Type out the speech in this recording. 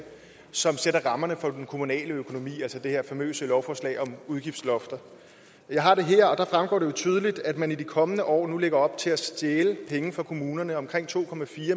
som sætter rammerne for den kommunale økonomi altså det her famøse lovforslag om udgiftslofter jeg har det her og der fremgår det jo tydeligt at man i de kommende år nu lægger op til at stjæle penge fra kommunerne altså omkring to